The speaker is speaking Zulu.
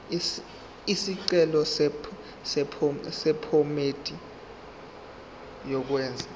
isicelo sephomedi yokwenze